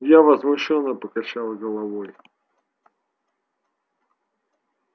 я возмущённо покачал головой